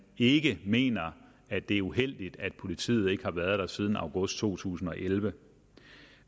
ikke mener at det er uheldigt at politiet ikke har været der siden august to tusind og elleve